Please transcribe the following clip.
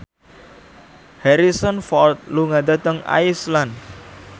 Harrison Ford lunga dhateng Iceland